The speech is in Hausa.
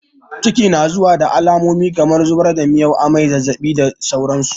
Ciki na zuwa da alamomi kamar zubar da miyau, amai, zazzaɓi da dai sauransu.